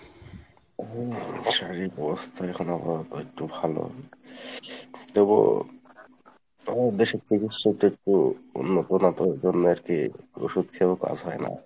হম শারীরিক অবস্থা এখন আবার একটু ভালো তবুও আমাদের দেশে চিকিৎসাই একটু উন্নত না তো এইজন্য আরকি ওষুধ খেয়েও কাজ হয় না